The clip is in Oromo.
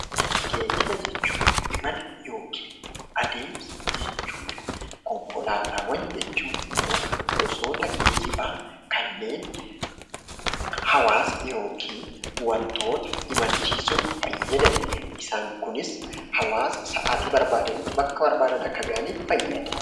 Geejjiba jechuun imala yookiin adeemsa jechuudha. Konkolaataawwan jechuun immoo gosoota geejjibaa kanneennhawwaasa yookiin wantoota imalchiisuuf fayyadanidha. Isaan kunis hawwaasa sa'aatii barbaadanitti bakka barbaadan akka gahan fayyada.